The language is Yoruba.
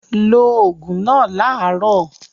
Lo òògùn náà láàárọ̀!